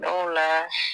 Dɔw la